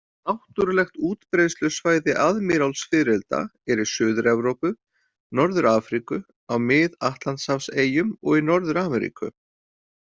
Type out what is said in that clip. Náttúrulegt útbreiðslusvæði aðmírálsfiðrilda er í Suður-Evrópu, Norður-Afríku, á Mið-Atlantshafseyjum og í Norður-Ameríku.